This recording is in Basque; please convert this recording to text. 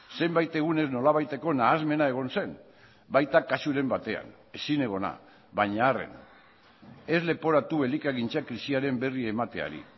zenbait egunez nolabaiteko nahasmena egon zen baita kasuren batean ezinegona baina arren ez leporatu elikagintzak krisiaren berri emateari